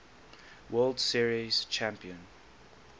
world series champion